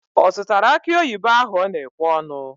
Ọ zụtara akị oyibo ahụ ọ na-ekwe ọnụ?